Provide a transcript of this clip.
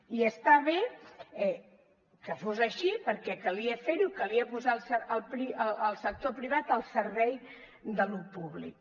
i està bé que fos així perquè calia fer ho i calia posar el sector privat al servei de lo públic